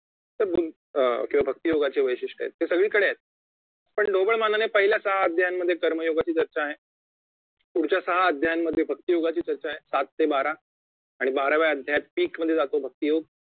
तर बुद्ध अं भक्ती योगाचे जे वैशिष्ट्य आहेत ते सगळीकडे आहेत पण ढोबळमानाने सहा अध्यायामध्ये कर्मयोगाची चर्चा आहे पुढच्या सहा अध्यायामध्ये भक्ती योगाची चर्चा आहे सात ते बारा आणि बाराव्या अध्यायात PEAK मधे जातो भक्ती योग